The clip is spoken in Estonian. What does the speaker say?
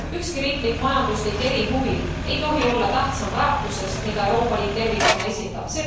Ükski riiklik majanduslik erihuvi ei tohi olla tähtsam väärtusest, mida Euroopa Liit tervikuna esindab.